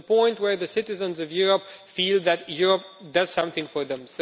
It is the point where the citizens of Europe feel that Europe does something for them.